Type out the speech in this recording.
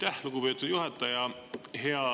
Aitäh, lugupeetud juhataja!